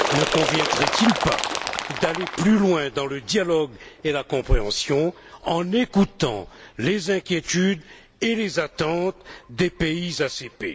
Ne conviendrait il pas d'aller plus loin dans le dialogue et la compréhension en écoutant les inquiétudes et les attentes des pays ACP?